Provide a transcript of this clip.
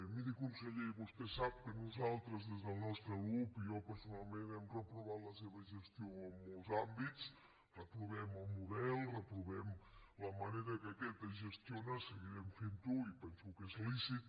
miri conseller vostè sap que nosaltres des del nostre grup i jo personalment hem reprovat la seva gestió en molts àmbits reprovem el model reprovem la manera en què aquest es gestiona seguirem fent·ho i penso que és lícit